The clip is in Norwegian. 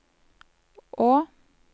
å